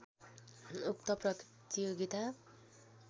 उक्त प्रतियोगिता